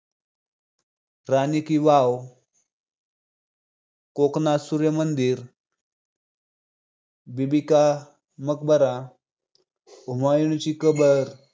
राणी की बाव, कोणार्क सूर्य मंदिर, बीबी का मकबरा, हुमायूनची कबर